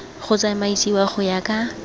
go tsamaisiwa go ya ka